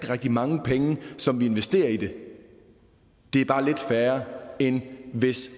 rigtig mange penge som vi investerer i det det er bare lidt færre end hvis